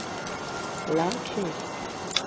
lakhe